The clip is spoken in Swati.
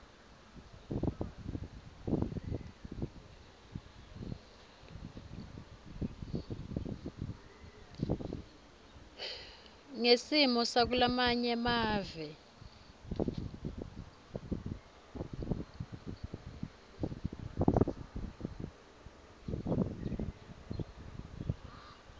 ngesimo sakulamanye mave